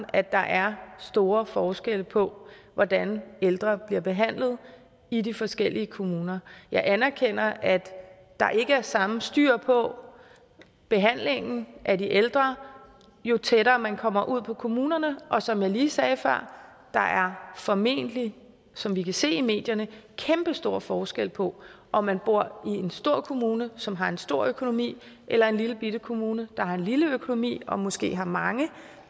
at der er store forskelle på hvordan ældre bliver behandlet i de forskellige kommuner jeg anerkender at der ikke er samme styr på behandlingen af de ældre jo tættere man kommer ud på kommunerne og som jeg lige sagde før der er formentlig som vi kan se i medierne kæmpestor forskel på om man bor i en stor kommune som har en stor økonomi eller en lillebitte kommune der har en lille økonomi og måske har mange